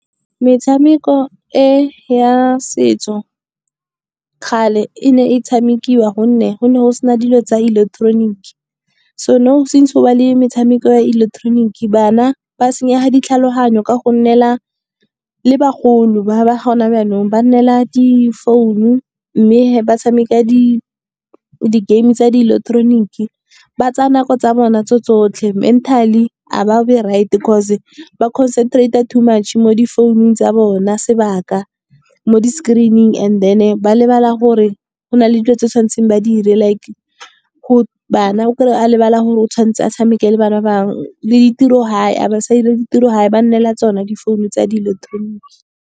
Metshameko e ya setso kgale e ne e tshamekiwa gonne go ne go sena dilo tsa ileketeroniki. So nou since go na le metshameko ya ileketeroniki, bana ba senyega ditlhaloganyo ka go nnela . Le bagolo ba ba gona jaanong ba nnela difounu, mme ba tshameka di-game tsa ileketeroniki. Ba tsaya nako tsa bona tso tsotlhe mentally ga ba be right-e cause ba concentrate-a too much mo difounung tsa bona sebaka. Mo di-screen-ing, and then-e ba lebala gore, go na le dilo tse ba tshwanetseng ba di dire. Like bana o kry-a a lebala gore o tshwanetse a tshameke le bana ba bangwe, le ditirogae ga ba sa dira le ditirogae, ba nnela tsona difounu tsa di ileketroniki.